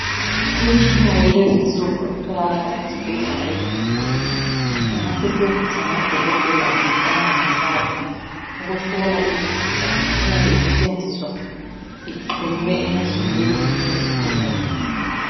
Imitshina yakulezi insuku etholakala ezibhedlela ezinkulu ingasetshenziswa ngodokotela kumbe ngomongikazi eyabe isetshenziswa ixhunywe emzimbeni yezigulane.